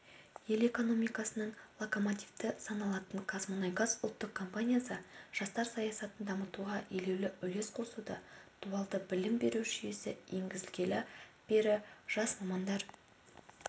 ел экономикасының локомотиві саналатын қазмұнайгаз ұлттық компаниясы жастар саясатын дамытуға елеулі үлес қосуда дуалды білім беру жүйесі енгізілгелі бері жас мамандар